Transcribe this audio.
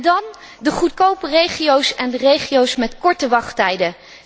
Dan de goedkope regio's en de regio's met korte wachttijden.